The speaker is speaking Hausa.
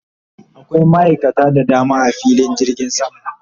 Akwai ma'aikata da dama a filin jirgin sama